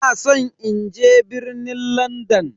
Ina san in je birnin Landan.